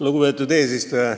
Lugupeetud eesistuja!